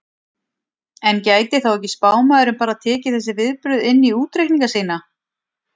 En gæti þá ekki spámaðurinn bara tekið þessi viðbrögð inn í útreikninga sína?